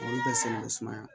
Olu ka sɛnɛ sumaya